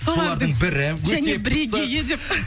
солардың бірі және бірігейі деп